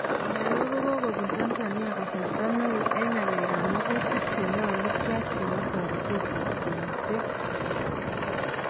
komaloo kokobuun Tanzania kasarta neuy en ng'alek ab makutiik chenyalu kyai chebo toreteed ak somseet .